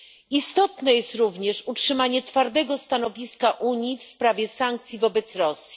Istotne jest również utrzymanie twardego stanowiska Unii w sprawie sankcji wobec Rosji.